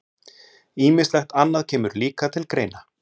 Ýmislegt annað kemur líka til greina.